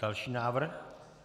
Další návrh.